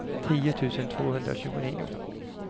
tio tusen tvåhundratjugonio